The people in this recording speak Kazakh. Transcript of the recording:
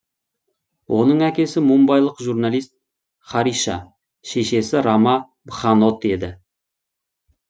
оның әкесі мумбайлық журналист хариша шешесі рама бханот еді